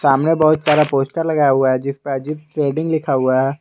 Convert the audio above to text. सामने बहुत सारा पोस्टर लगाया हुआ है जिसपे अजीत ट्रेडिंग लिखा हुआ है।